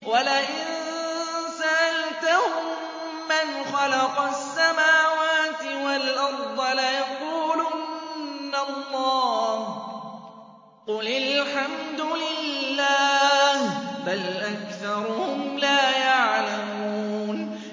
وَلَئِن سَأَلْتَهُم مَّنْ خَلَقَ السَّمَاوَاتِ وَالْأَرْضَ لَيَقُولُنَّ اللَّهُ ۚ قُلِ الْحَمْدُ لِلَّهِ ۚ بَلْ أَكْثَرُهُمْ لَا يَعْلَمُونَ